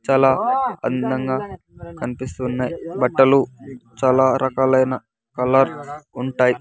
చాలా అందంగా కనిపిస్తున్నాయి బట్టలు చాలా రకాలైన కలర్ ఉంటాయి.